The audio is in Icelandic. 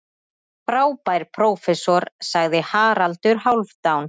Frábær prófessor, sagði Haraldur Hálfdán.